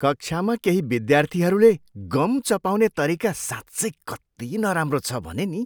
कक्षामा केही विद्यार्थीहरूले गम चपाउने तरिका साँच्चै कति नराम्रो छ भने नि।